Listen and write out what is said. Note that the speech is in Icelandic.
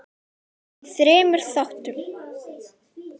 í þremur þáttum.